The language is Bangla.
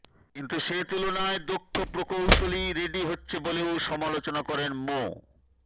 কিন্তু সে তুলনায় দক্ষ প্রকৌশলী রেডি হচ্ছে বলেও সমালোচনা করেন ম